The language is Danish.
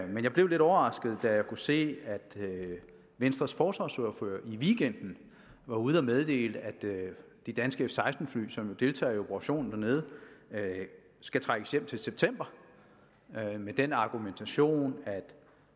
men jeg blev lidt overrasket da jeg kunne se at venstres forsvarsordfører i weekenden var ude at meddele at de danske f seksten fly som jo deltager i operationen dernede skal trækkes hjem til september med den argumentation at